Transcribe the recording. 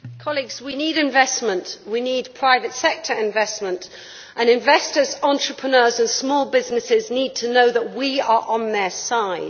Madam President, we need investment. We need private sector investment and investors, entrepreneurs and small businesses need to know that we are on their side.